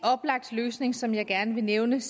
oplagt løsning som jeg gerne vil nævne